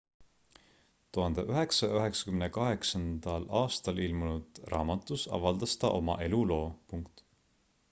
1998 aastal ilmunud raamatus avaldas ta oma eluloo